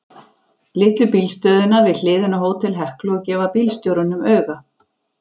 Litlu bílstöðina við hliðina á Hótel Heklu og gefa bílstjórunum auga.